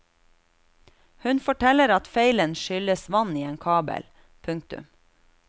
Hun forteller at feilen skyldes vann i en kabel. punktum